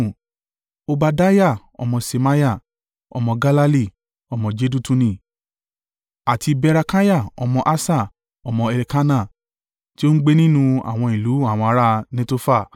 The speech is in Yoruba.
Obadiah ọmọ Ṣemaiah, ọmọ Galali, ọmọ Jedutuni; àti Berekiah ọmọ Asa, ọmọ Elkana, tí ó ń gbé nínú àwọn ìlú àwọn ará Netofa.